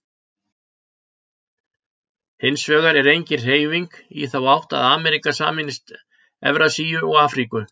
Hins vegar er engin hreyfing í þá átt að Ameríka sameinist Evrasíu og Afríku.